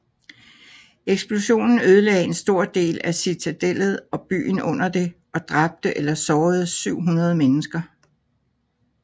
Eksplosionen ødelagde en stor del af citadellet og byen under det og dræbte eller sårede 700 mennesker